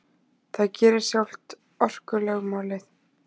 Það gerir sjálft orkulögmálið.